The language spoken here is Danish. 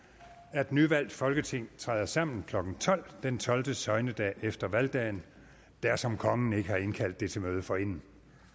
at nyvalgt folketing træder sammen klokken tolv den tolvte søgnedag efter valgdagen dersom kongen ikke har indkaldt det til møde forinden